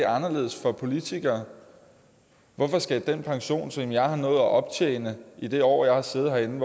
anderledes for politikere hvorfor skal den pension som jeg har nået at optjene i det år jeg har siddet herinde